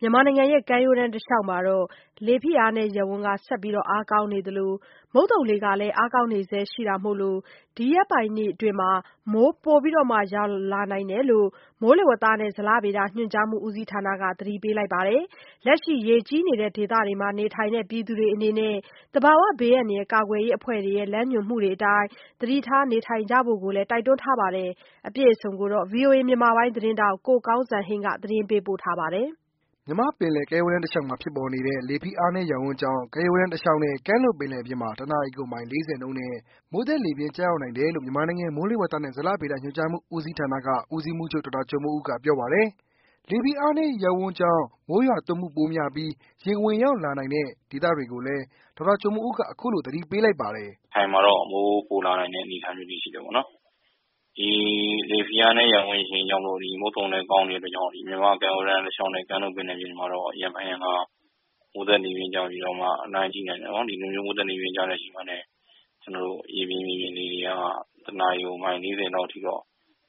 မြန်မာနိုင်ငံ ကမ်းရိုးတန်းတစ်လျှောက်မှာ လေဖိအားနည်းရပ်ဝန်း ဆက်အားကောင်းနေသလို မုတ်သုံလေလည်း အားကောင်း နေဆဲရှိတာကြောင့် ဒီရက်ပိုင်းအတွင်း မိုးပိုရွာလာနိုင်သေးတယ်လို့ မိုးလေဝသနဲ့ ဇလဗေဒညွန်ကြားမှု ဦးစီးဌာနက သတိပေး ထားပါတယ်။ လက်ရှိ ရေကြီးနေတဲ့ဒေသတွေမှာ နေထိုင်တဲ့ ပြည်သူတွေအနေနဲ့ သဘာဝဘေးအန္တရာယ် ကာကွယ်ရေးအဖွဲ့တွေ ရဲ့ လမ်းညွှန်မှုအတိုင်း သတိထား နေထိုင်ဖို့ကိုလည်း တိုက်တွန်းထားပါတယ်။ အပြည့်အစုံကို ကိုကောင်းစံဟိန်းက ပြောပြပါမယ်။ မြန်မာ့ပင်လယ် ကမ်းရိုးတန်းတစ်လျှောက်မှာ ဖြစ်ပေါ်နေတဲ့ လေဖိအားနည်း ရပ်ဝန်းကြောင့်ကမ်းရိုးတန်းတစ်လျှောက်နဲ့ ကမ်းလွန်ပင်လယ်ပြင်မှာ တစ်နာရီကို မိုင် ၄၀နှုန်းနဲ့ မိုးသက်လေပြင်းကျရောက်နိုင်တယ်လို့ မြန်မာနိုင်ငံ မိုးလေဝသနဲ့ ဇလဗေဒညွန်ကြားမှု ဦးစီးဌာနက ဦးစီးမှူးချုပ် ဒေါက်တာကျော်မိုးဦးက ပြောပါတယ်။ လေဖိအားနည်း ရပ်ဝန်းကြောင့် မိုးရွာသွန်းမှုပိုများပီး ရေဝင်ရောက်လာနိုင်တဲ့ ဒေသတွေကိုလည်း ဒေါက်တာကျော်မိုးဦးက အခုလို သတိပေးလိုက်ပါတယ်။ “ရခိုင်မှာတော့ မိုးပိုလာနိုင်တဲ့အခြေအနေရှိတယ်ပေါ့နော်။ လေဖိအားနည်း ရပ်ဝန်းကြောင့်မို့ မုတ်သုံလည်း ကောင်းတဲ့အတွက်ကြောင့် မြန်မာ့ကမ်းရိုးတမ်းတလျောက်နဲ့ ကမ်းလွန်ပင်လယ်ပြင်မှာတော့ ရံဖန်ရံခါ မိုးသက်လေပြင်းကျပြီးတော့ လှိုင်းကြီးနိုင်တယ်။ မိုးသက်လေပြင်းကျတဲ့အချိန်မှာလည်း ရေပြင်မြေပြင်လေတွေက ၁ နာရီကို မိုင် ၄၀ လောက်အထိတော့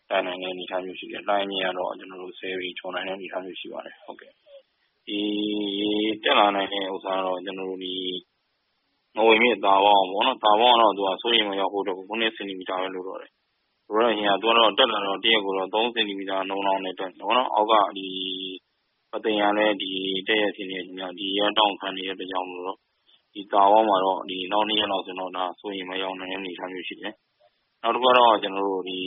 တိုက်နိုင်တဲ့အနေအထားရှိတယ်။ လှိုင်းအမြင့်ကတော့ ၁၀ ပေကျော်နိုင်တဲ့ အနေအထားရှိပါတယ်။ ရေတက်လာနိုင်တာကတော့ ငဝန်မြစ်က စိုးရိမ်အမှတ်ရောက်ဖို့အတွက်ကို ၇ စင်တီမီတာပဲ လိုတယ်။ သူကတော့ ရေတက်တာ တရက်ကို ၃ စင်တီမီတာ နှုန်းလောက်နဲ့ တက်နေတယ်။ နောက် ၂ ရက်လောက်ဆိုရင်တော့ တာဝမှာတော့ စိုးရိမ်အမှတ်ရောက်လာနိုင်တဲ့အနေအထားရှိတယ်။ နောက်တခုကတော့ ပဲခူး၊ ဒီ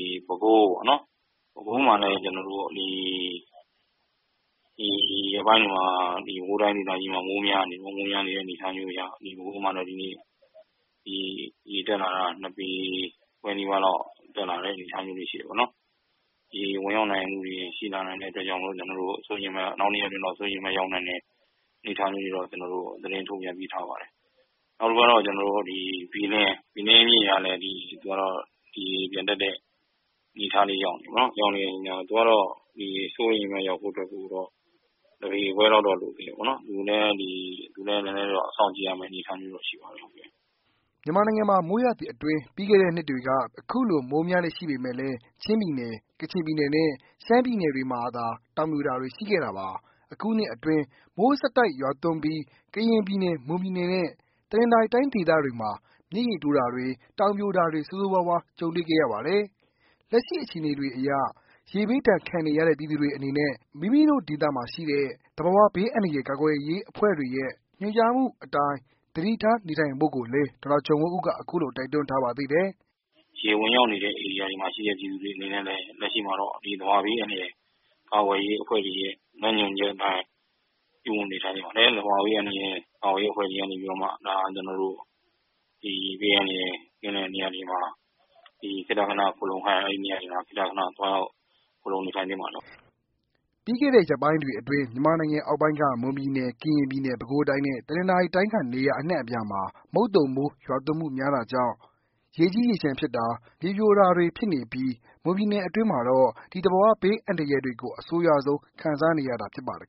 ရက်ပိုင်းတွေမှာ ပဲခူးတိုင်းဒေသကြီးတွေမှာ မိုးများနေတဲ့အနေအထားရှိပြီ ဒီကနေ့ဆိုရင် ရေတက်လာတာ ၂ ပေခွဲတက်လာတဲ့အနေအထားရှိတယ်။ ရေဝင်ရောက်နိုင်မှုတွေ ရှိလာနိုင်တဲ့အနေအထားမို့ နောက် ၂ ရက်အတွက် စိုးရိမ်အမှတ် ရောက်နိုင်တဲ့အနေအထားလေးတွေတော့ ကျနော်တို့ သတင်းထုတ်ပြန်ပေးထားပါတယ်။ နောက်တခုကတော့ ကျနော်တို့ ဘီလင်းမြစ်ကလည်း ဒီရေပြန်တက်တဲ့ အနေအထားရောက်နေတယ်။ သူကတော့ စိုးရိမ်အမှတ်ရောက်ဖို့အနေအထားကတော့ ၁ ပေခွဲလောက်တော့ လိုသေးတယ် သူလည်း စောင့်ကြည့်ရမယ့် အနေအထားရှိပါတယ်။” မြန်မာနိုင်ငံမှာ မိုးရာသီအတွင်း ပြီးခဲ့တဲ့နှစ်တွေက အခုလို မိုးများလေ့ရှိပေမဲ့လည်း ချင်းပြည်နယ် ၊ကချင်ပြည်နယ်နဲ့ ရှမ်းပြည်နယ်တွေမှာသာ တောင်ပြိုတာတွေ ရှိခဲ့တာပါ။ အခုနှစ်အတွင်း မိုးရက်ဆက် ရွာသွန်းပြီး ကရင်ပြည်နယ်၊မွန်ပြည်နယ်နဲ့ တနသာၤရီတိုင်းဒေသတွေမှာ မြစ်ရေတိုးတာတွေ၊တောင်ပြိုတာတွေ ဆိုးဆိုးဝါးဝါး ကြုံတွေ့ခဲ့ရပါတယ်။ လက်ရှိ အခြေအနေတွေအရ ရေဘေးဒဏ်ခံနေရတဲ့ ပြည်သူတွေအနေနဲ့ မိမိတို့ ဒေသမှာရှိတဲ့ သဘာဝဘေးအန္တရာယ် ကာကွယ်ရေးအဖွဲ့တွေရဲ့ လမ်းညွှန်မှုအတိုင်း သတိထား နေထိုင်ဖို့ကိုလည်း ဒေါက်တာ ကျော်မိုးဦးက အခုလို တိုက်တွန်းထားပါသေးတယ်။ “ရေဝင်ရောက်နေတဲ့ ဧရိယာမှာရှိတဲ့ ပြည်သူတွေအနေနဲ့လည်း လက်ရှိမှာတော့ သဘာ၀ ဘေးအန္တရာယ် ကာကွယ်ရေးအဖွဲ့တွေရဲ့ လမ်းညွှန်ချက်အတိုင်း ပြုမှုနေထိုင်ရပါမယ်။ သဘာ၀ ဘေးအန္တရာယ် ကာကွယ်ရေးအဖွဲ့တွေကနေပြီးတော့မှ ကျနော်တို့ ဘေးအန္တရာယ် ကင်းတဲ့နေရာတွေမှာ ခေတ္တခဏ ခိုလိုနေထိုင်သင့်ပါတယ်။” ပြီးခဲ့တဲ့ ရက်ပိုင်းတွေအတွင်း မြန်မာနိုင်ငံအောက်ပိုင်းက မွန်ပြည်နယ်၊ ကရင်ပြည်နယ် ၊ ပဲခူတိုင်း နဲ့ တနင်္သာရီတိုင်း က နေရာ အနှံ့အပြားမှာ မုတ်သုံမိုးရွာသွန်းမှု များတာကြောင့် ရေကြီး ရေလျှံဖြစ်တာ၊ မြေပြိုတာတွေဖြစ်နေပြီး မွန်ပြည်နယ်အတွင်းမှာတော့ ဒီသဘာဝဘေး အန္တရာယ်တွေကို အဆိုးရွားဆုံး ခံစားနေရတာဖြစ်ပါတယ်